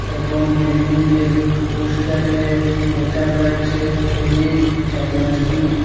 এবং বিল্ডিংগের পোস্টারে লেখা রয়েছে এলিট ডায়াগনাস্টিনিক ।